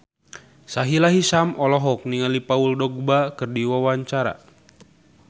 Sahila Hisyam olohok ningali Paul Dogba keur diwawancara